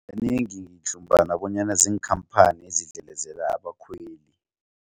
Kanengi ngidlumbana bonyana ziinkhamphani ezidlelezela abakhweli.